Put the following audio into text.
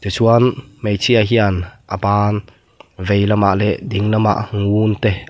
chuan hmeichhia hian a ban veilam ah leh dinglam ah ngun te --